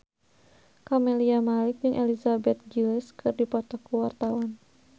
Camelia Malik jeung Elizabeth Gillies keur dipoto ku wartawan